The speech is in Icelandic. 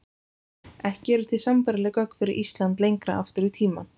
Ekki eru til sambærileg gögn fyrir Ísland lengra aftur í tímann.